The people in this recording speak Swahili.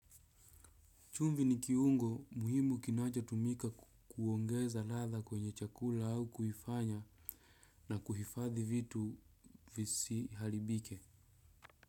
Chumvi ni kiungo muhimu kinachotumika kuongeza ladha kwenye chakula au kuifanya na kuhifadhi vitu visiharibike.